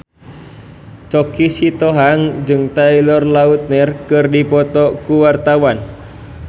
Choky Sitohang jeung Taylor Lautner keur dipoto ku wartawan